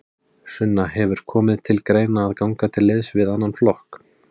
Sunna: Hefur komið til greina að ganga til liðs við annan flokk?